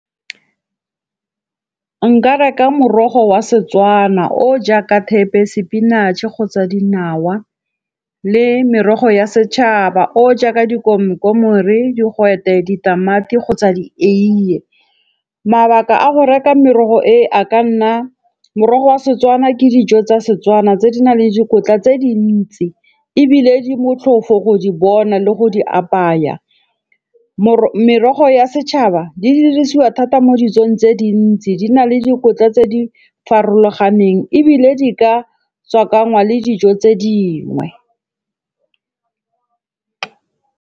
Nka reka morogo wa Setswana o jaaka thepe, spinach-e kgotsa dinawa le merogo ya setšhaba o jaaka dikomkomere, digwete, ditamati kgotsa di eiye. Mabaka a go reka merogo e a ka nna morogo wa Setswana ke dijo tsa Setswana tse di nang le dikotla tse dintsi ebile di motlhofo go di bona le go di apaya. Merogo ya setšhaba di dirisiwa thata mo dijong tse dintsi. Di na le dikotla tse di farologaneng ebile di ka tswakanngwa le dijo tse dingwe.